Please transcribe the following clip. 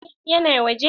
Eh ya na waje?